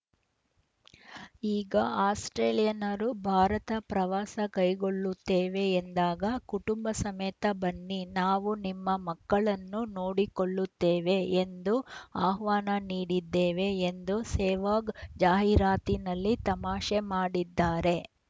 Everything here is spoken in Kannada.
ಈಗ ಆಸ್ಪ್ರೇಲಿಯನ್ನರು ಭಾರತ ಪ್ರವಾಸ ಕೈಗೊಳ್ಳುತ್ತೇವೆ ಎಂದಾಗ ಕುಟುಂಬ ಸಮೇತ ಬನ್ನಿ ನಾವು ನಿಮ್ಮ ಮಕ್ಕಳನ್ನು ನೋಡಿಕೊಳ್ಳುತ್ತೇವೆ ಎಂದು ಆಹ್ವಾನ ನೀಡಿದ್ದೇವೆ ಎಂದು ಸೆಹ್ವಾಗ್‌ ಜಾಹೀರಾತಿನಲ್ಲಿ ತಮಾಷೆ ಮಾಡಿದ್ದಾರೆ